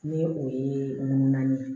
Ni o ye nun naani ye